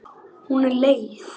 Hún er leið.